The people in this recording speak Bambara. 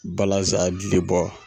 Balansan dili bɔ.